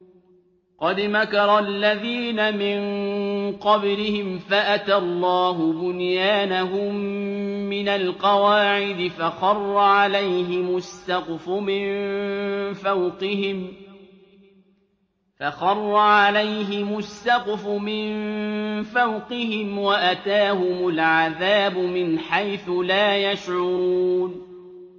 قَدْ مَكَرَ الَّذِينَ مِن قَبْلِهِمْ فَأَتَى اللَّهُ بُنْيَانَهُم مِّنَ الْقَوَاعِدِ فَخَرَّ عَلَيْهِمُ السَّقْفُ مِن فَوْقِهِمْ وَأَتَاهُمُ الْعَذَابُ مِنْ حَيْثُ لَا يَشْعُرُونَ